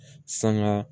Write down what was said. Sanga